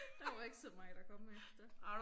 Der var ikke så meget at komme efter